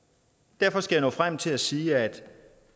derfor skal jeg nå frem til at sige at